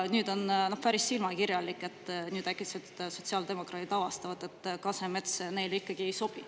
On päris silmakirjalik, et nüüd äkitselt sotsiaaldemokraadid avastavad, et Kasemets neile ikkagi ei sobi.